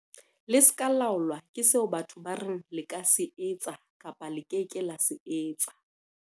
"Le se ke la laolwa ke seo batho ba reng le ka se etsa kapa le ke ke la se etsa."